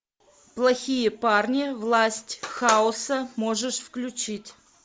плохие парни власть хаоса можешь включить